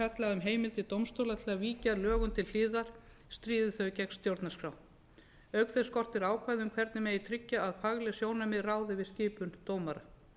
um heimildir dómstóla til að víkja lögum til hliðar stríði þau gegn stjórnarskrá auk þess skortir ákvæði um hvernig megi tryggja að fagleg sjónarmið ráði við skipun dómara